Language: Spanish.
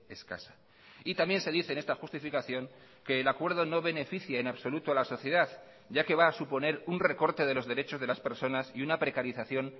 escasa y también se dice en esta justificación que el acuerdo no beneficia en absoluto a la sociedad ya que va a suponer un recorte de los derechos de las personas y una precarización